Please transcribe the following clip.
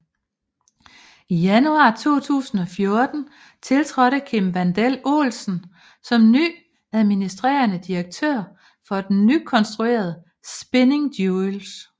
I januar 2014 tiltrådte Kim Wandel Olsen som ny administrerende direktør for et nykonstrueret Spinning Jewelry